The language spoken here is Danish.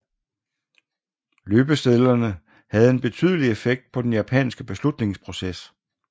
Løbesedlerne havde en betydelig effekt på den japanske beslutningsproces